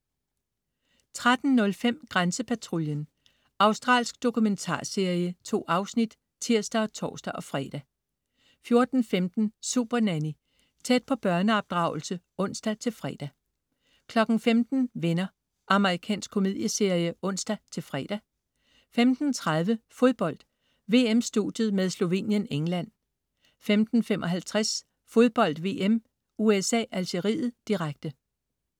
13.05 Grænsepatruljen. Australsk dokumentarserie. 2 afsnit (tirs og tors-fre) 14.15 Supernanny. Tæt på børneopdragelse (ons-fre) 15.00 Venner. Amerikansk komedieserie (ons-fre) 15.30 Fodbold: VM-studiet med Slovenien-England 15.55 Fodbold VM: USA-Algeriet, direkte